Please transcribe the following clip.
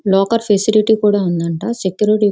locker facility కూడా ఉందంట.సెక్యూరిటీ --